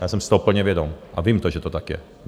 Já jsem si toho plně vědom a vím to, že to tak je.